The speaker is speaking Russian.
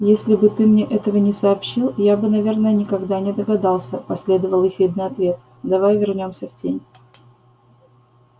если бы ты мне этого не сообщил я бы наверное никогда не догадался последовал ехидный ответ давай вернёмся в тень